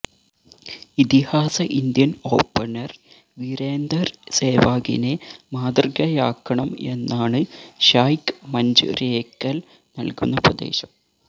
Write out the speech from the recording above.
ഇതിഹാസ Indian opener Virender സെവാഗിനെ മാതൃകയാക്കണം എന്നാണ് ഷായ്ക്ക് മഞ്ജരേക്കല് നല്കുന്ന ഉപദേശം